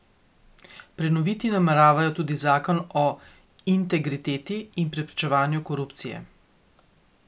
Prenoviti nameravajo tudi zakon o integriteti in preprečevanju korupcije.